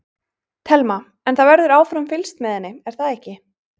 Telma: En það verður áfram fylgst með henni er það ekki?